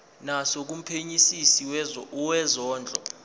naso kumphenyisisi wezondlo